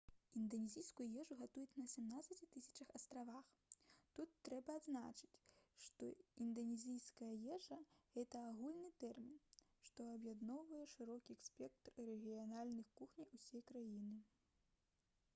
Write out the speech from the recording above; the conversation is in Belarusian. інданезійскую ежу гатуюць на 17 000 астравах тут трэба адзначыць што інданезійская ежа гэта агульны тэрмін што аб'ядноўвае шырокі спектр рэгіянальных кухняў усёй краіны